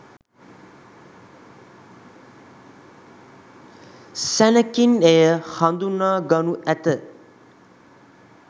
සැණෙකින් එය හදුනා ගනු ඇත.